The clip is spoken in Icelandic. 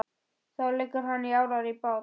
Þá leggur hann árar í bát.